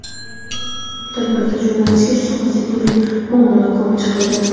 Tadbirda jurnalistika sohasidagi turli muammolar ko‘rib chiqildi.